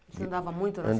Você andava muito na